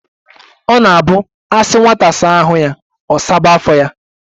Ọ na-abụ asi nwata saa ahu ya, ọ saba afọ ya